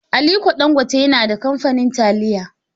Alike Dangote yana da kamfanin taliya.